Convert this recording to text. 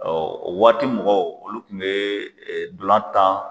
o waati mɔgɔw olu kun bɛ dɔlan tan